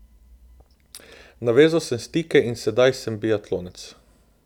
Navezal sem stike in sedaj sem biatlonec.